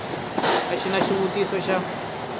a xi na xivutiso xa